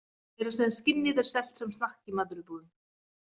Meira að segja skinnið er selt sem snakk í matvörubúðum.